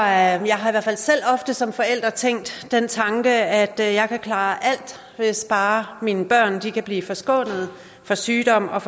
jeg har i hvert fald selv ofte som forælder tænkt den tanke at jeg kan klare alt hvis bare mine børn kan blive forskånet for sygdom og